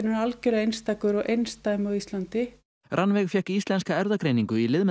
er algjörlega einstakur og einsdæmi á Íslandi Rannveig fékk Íslenska erfðagreiningu í lið með